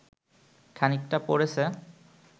খানিকটা পড়েছে